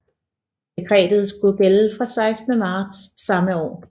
Dekretet skulle gælde fra 16 marts samme år